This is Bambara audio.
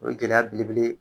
O ye gɛlɛya belebele